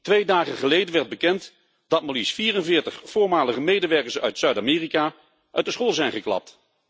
Twee dagen geleden werd bekend dat maar liefst 44 voormalige medewerkers uit Zuid Amerika uit de school zijn geklapt.